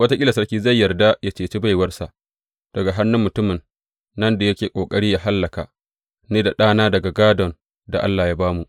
Wataƙila sarki zai yarda yă ceci baiwarsa daga hannun mutumin nan da yake ƙoƙari yă hallaka ni da ɗana daga gādon da Allah ya ba mu.’